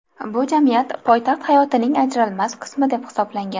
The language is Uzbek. Bu jamiyat poytaxt hayotining ajralmas qismi deb hisoblangan.